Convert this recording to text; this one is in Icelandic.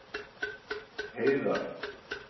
Heiðar